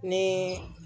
Ni